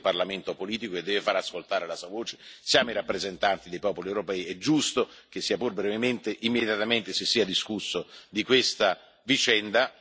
Questo è un Parlamento politico che deve far ascoltare la propria voce siamo i rappresentanti dei popoli europei ed è giusto che, se pur brevemente, immediatamente si sia discusso di questa vicenda.